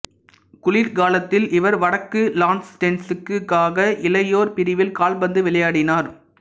குளிர்காலத்தில் இவர் வடக்கு லான்ஸ்டெஸ்டனுக்காக இளையோர் பிரிவில் கால்பந்து விளையாடினார்